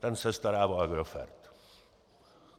Ten se stará o Agrofert.